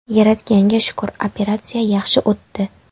Yaratganga shukr, operatsiya yaxshi o‘tdi.